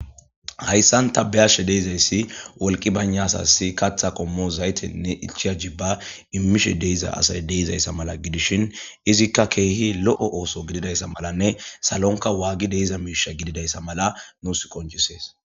hayssan ta biyashe de'izayssi cora wolqi bayna asassi katha qommo zaytenne ichia jibba immishe deiza asay deizayssa mala gidishin izikka keehi lo7o ooso gididayssa malanne salonka waagi deiza miisha gididayssa mala nuus qoncisees